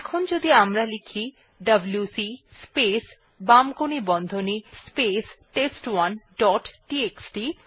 এখন যদি আমরা লিখি ডব্লিউসি স্পেস বামকোণী বন্ধনী স্পেস টেস্ট1 ডট টিএক্সটি